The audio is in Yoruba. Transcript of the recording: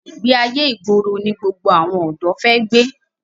Ìgbé ayé ìgboro ni gbogbo àwọn ọ̀dọ́ fi gbé.